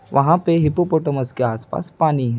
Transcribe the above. वहाँ पे हिप्पोपोटामस के आस पास पानी है।